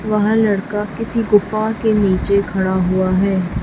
वह लड़का किसी गुफा के नीचे खड़ा हुआ है।